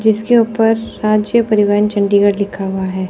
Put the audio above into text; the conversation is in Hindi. जिसके ऊपर राज्य परिवहन चंडीगढ़ लिखा हुआ है।